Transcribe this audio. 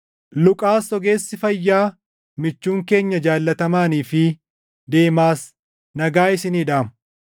Luqaas ogeessi fayyaa michuun keenya jaallatamaanii fi Deemaas nagaa isinii dhaamu.